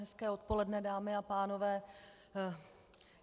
Hezké odpoledne, dámy a pánové.